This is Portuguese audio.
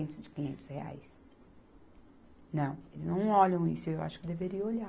de quinhentos reais. Não, eles não olham isso, e eu acho que deveriam olhar.